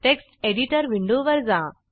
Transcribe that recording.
text editor विंडोवर जा